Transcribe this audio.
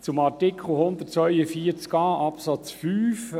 Zu Artikel 142a Absatz 5